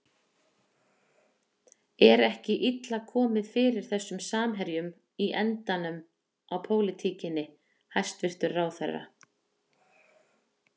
Er ekki illa komið fyrir þessum samherjum í endanum á pólitíkinni, hæstvirtur ráðherra?